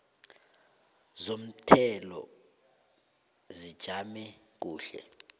zomthelo zijame kuhle